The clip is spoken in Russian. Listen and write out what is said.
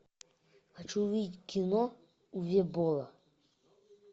хочу увидеть кино уве болла